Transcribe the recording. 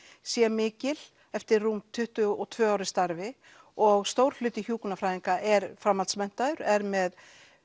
sé mikil eftir rúm tuttugu og tvö ár í starfi og stór hluti hjúkrunarfræðinga er er með